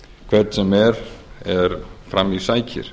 hvern sem er er fram í sækir